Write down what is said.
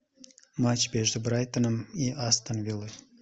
матч между брайтоном и астон виллой